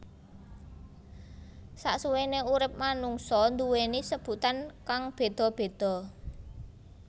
Sasuwene urip manungsa nduweni sebutan kang beda beda